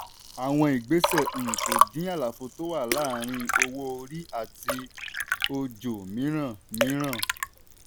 àwọn ìgbésẹ̀ um kò dín àlàfo tó wà láàárín owó orí àti ojò mìíràn. mìíràn.